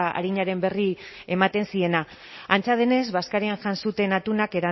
arinaren berri ematen ziena antza denez bazkarian jan zuten atuna